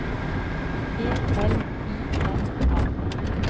E L I N A